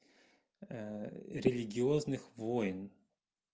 религиозных войн